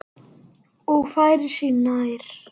Og færir sig nær.